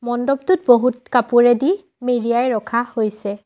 মণ্ডপটোত বহুত কপোৰেদি মেৰিয়াই ৰখা হৈছে।